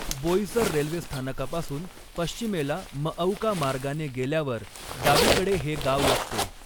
Boisar railway स्थानकापासून पश्चिमेला मऔका मार्गाने गेल्यावर डावीकडे हे गाव लागते.